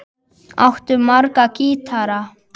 Áttu marga gítara?